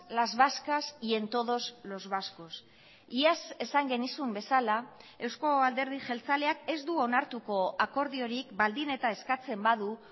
las vascas y en todos los vascos iaz esan genizun bezala eusko alderdi jeltzaleak ez du onartuko akordiorik baldin eta eskatzen badu